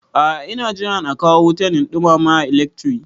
A a ina jiran a kawo wuta in ɗumama a ilekri.